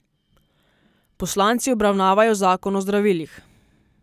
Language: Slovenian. Poslanci obravnavjo zakon o zdravilih.